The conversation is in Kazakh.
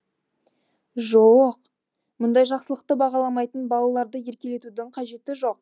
жо о қ мұндай жақсылықты бағаламайтын балаларды еркелетудің қажеті жоқ